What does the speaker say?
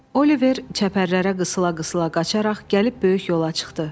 Oliver çəpərlərə qısıla-qısıla qaçaraq gəlib böyük yola çıxdı.